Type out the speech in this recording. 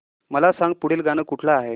मला सांग पुढील गाणं कुठलं आहे